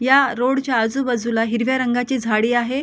या रोड च्या आजूबाजूला हिरव्या रंगाची झाडी आहे.